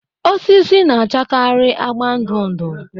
Osisi na-achakarị agba ndụ ndụ